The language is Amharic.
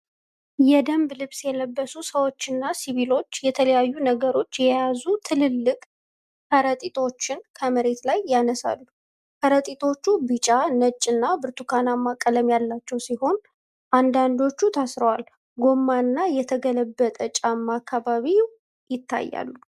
የደንብ ልብስ የለበሱ ሰዎችና ሲቪሎች የተለያዩ ነገሮች የያዙ ትልልቅ ከረጢቶችን ከመሬት ላይ ያነሳሉ። ከረጢቶቹ ቢጫ፣ ነጭና ብርቱካናማ ቀለም ያላቸው ሲሆን፣ አንዳንዶቹ ታስረዋል። ጎማና የተገለበጠ ጫማ በአካባቢው ይታያሉ።